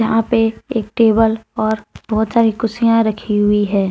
यहां पे एक टेबल और बहुत सारी कुर्सियां रखी हुई है।